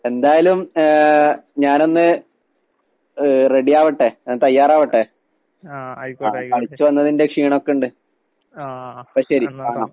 എന്തായാലും ഏഹ് ഞാനൊന്ന് ഏഹ് റെഡിയാവട്ടെ, ഞാൻ തയ്യാറാവട്ടെ. ആഹ് കളിച്ച് വന്നതിന്റെ ക്ഷീണോക്കിണ്ട്. അപ്പ ശെരി കാണാം.